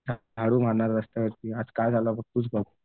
झाडू मारणारा रस्त्यावरती आज काय झाला तूच बघ.